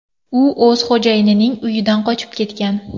U o‘z xo‘jayinining uyidan qochib ketgan.